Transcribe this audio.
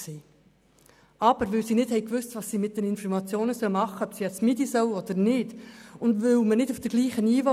Seitens der Gemeinde Nidau wusste man aber nicht, was mit dieser Information anzufangen ist, und in der GEF und in der POM ist man nicht auf dem gleichen Niveau.